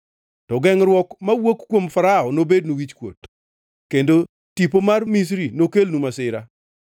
To gengʼruok mawuok kuom Farao nobednu wichkuot, kendo tipo mar Misri nokelnu masira.